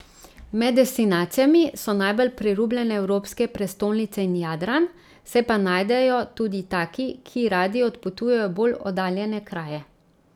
Med destinacijami so najbolj priljubljene evropske prestolnice in Jadran, se pa najdejo tudi taki, ki radi odpotujejo v bolj oddaljene kraje.